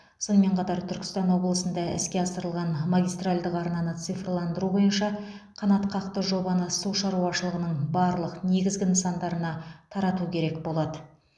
сонымен қатар түркістан облысында іске асырылған магистральдық арнаны цифрландыру бойынша қанатқақты жобаны су шаруашылығының барлық негізгі нысандарына тарату керек болады